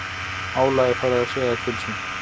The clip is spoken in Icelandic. Álagið farið að segja til sín